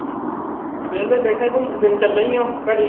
ਵੇਹਲੇ ਬੈਠੇ ਸੀ ਘੁਮਣ ਫਿਰਨ ਚੱਲੇ ਈ ਆ ਘੜੀ